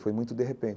Foi muito de repente.